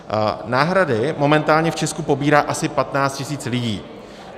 Náhrady momentálně v Česku pobírá asi 15 000 lidí.